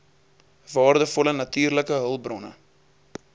waardevolle natuurlike hulpbronne